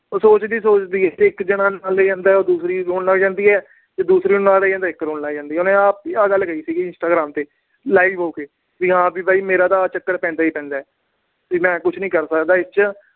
ਉਹ ਸੋਚਦੀ ਈ ਸੋਚਦੀ ਆ, ਉਹ ਇੱਕ ਨਾਲ ਚਲਾ ਜਾਂਦਾ, ਦੂਸਰੀ ਰੋਣ ਲੱਗ ਜਾਂਦੀ ਏ। ਜੇ ਦੂਸਰੀ ਨੂੰ ਨਾਲ ਲੈ ਜਾਂਦਾ ਤਾਂ ਇੱਕ ਰੋਣ ਲੱਗ ਜਾਂਦੀ ਏ। ਉਹਨੇ ਆ ਗੱਲ ਕਹੀ ਸੀ instagram ਤੇ। live ਹੋ ਕੇ। ਵੀ ਮੇਰਾ ਤਾਂ ਵੀ ਆਹ ਚੱਕਰ ਪੈਂਦਾ ਈ ਪੈਂਦਾ। ਵੀ ਮੈਂ ਕੁਛ ਨੀ ਕਰ ਸਕਦਾ ਇਹਦੇ ਚ।